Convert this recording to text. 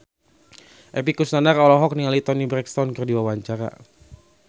Epy Kusnandar olohok ningali Toni Brexton keur diwawancara